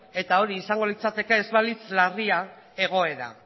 eta hori izango litzateke ez balitz larria egoera